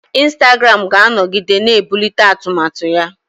Instagram ga-anọgide na-ebulite atụmatụ ya.